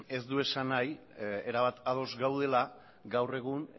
ez du esan nahi erabat ados gaudela gaur egun